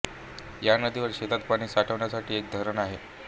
या नदीवर शेतात पाणी साठवण्यासाठी एक धरण आहे